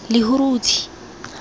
lehurutshe